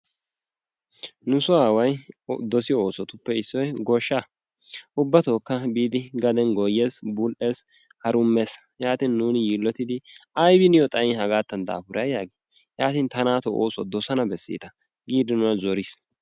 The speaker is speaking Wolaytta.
Nusoo away doosiyoo oosotuppe issoy goshshaa. Ubbatokka biidi gaden bul"ees gooyyees harummees. Yaatin nuuni yiillottidi aybi niyoo xaayin hagaatan daafuray yaagin ta naato oosuwaa doossana beeseetta giidi nuuna zooriis.